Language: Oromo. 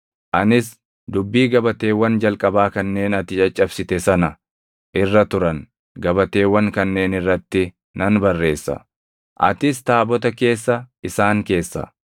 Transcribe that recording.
Anis dubbii gabateewwan jalqabaa kanneen ati caccabsite sana irra turan gabateewwan kanneen irratti nan barreessa. Atis taabota keessa isaan keessa.”